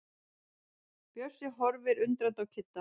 Bjössi horfir undrandi á Kidda.